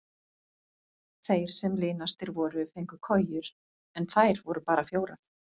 Þeir sem linastir voru fengu kojur en þær voru bara fjórar.